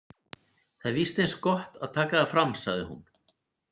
Það er víst eins gott að taka það fram, sagði hún.